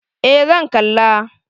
Eh zan kalla.